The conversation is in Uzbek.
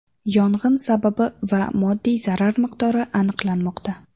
Yong‘in sababi va moddiy zarar miqdori aniqlanmoqda.